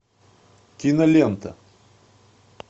кинолента